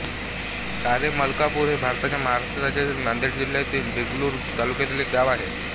कारेमलकापूर हे भारताच्या महाराष्ट्र राज्यातील नांदेड जिल्ह्यातील देगलूर तालुक्यातील एक गाव आहे